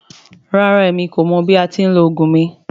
Rara, emi ko mọ bi a ti ni lo ogun mi.